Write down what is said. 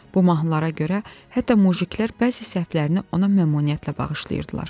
Bu mahnılara görə hətta mujiklər bəzi səhvlərini ona məmnuniyyətlə bağışlayırdılar.